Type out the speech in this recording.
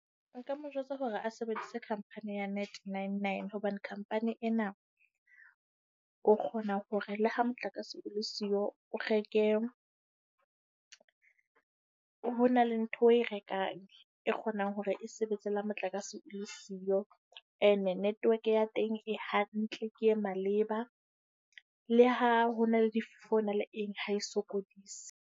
Nka mo jwetsa hore a sebedise company ya Net 99, hobane company ena o kgona hore le ha motlakase o le siyo o reke. Ho na le ntho eo oe rekang e kgonang hore e sebetse le ha motlakase le siyo. Ene network ya teng e hantle, ke e maleba. Le ha ho na le difefo le eng ha e sokodise.